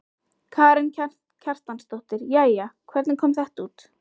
Karen Kjartansdóttir: Jæja, hvernig kom þetta út?